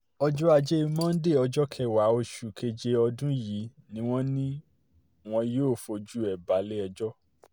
ọjọ́ ajé monde ọjọ́ kẹwàá oṣù keje ọdún yìí ni wọ́n ní wọn yóò fojú ẹ̀ balẹ̀-ẹjọ́